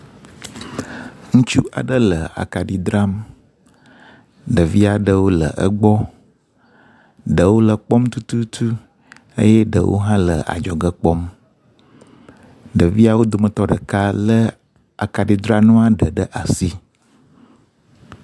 ŋutsu aɖe le akaɖi dram ɖevi aɖewo le egbɔ ɖewo le kpɔm tututu eye ɖewo hã le adzɔge kpɔm ɖeviawo dometɔ ɖeka le akaɖi dra nua ɖe ɖe asi